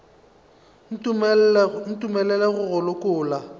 o ntumelele go go lokolla